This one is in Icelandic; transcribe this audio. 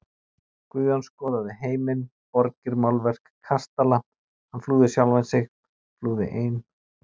Guðjón skoðaði heiminn, borgir, málverk, kastala, hann flúði sjálfan sig, flúði ein